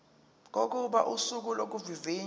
kokuba usuku lokuvivinywa